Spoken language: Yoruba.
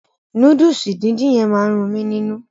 Núdùùsì díndín yẹn ma run mí nínú.